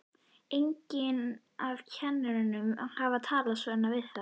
Enginn af kennurunum hafði talað svona við þá.